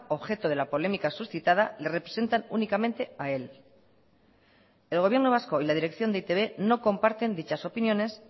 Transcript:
objeto de la polémica suscitada le representan únicamente a él el gobierno vasco y la dirección de e i te be no comparten dichas opiniones